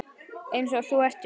Einsog þú ert núna.